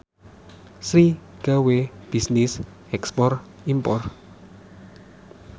Sri gawe bisnis ekspor impor